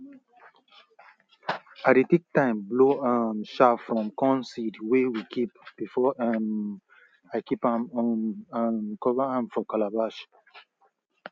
i dey take time blow um chaff from corn seed wey we kip before um i kip am um um cover am for calabash